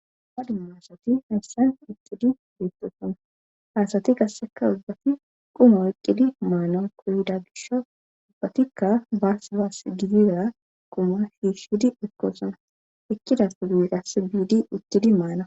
duma dumu hasati hayssan ixidi beettoosona haasati kasseka ubbati quma eqqidi maana qoyda gisha ubbatikka baas baas gizira quma shiishidi ekkoosona ekkidafu giiqas biidi uttidi maana